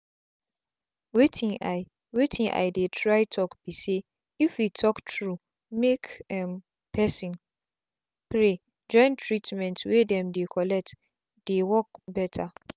wetin i wetin i dey try talk be say if we talk true make um person pray join treatment wey dem dey collect dey work better.